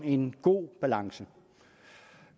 en god balance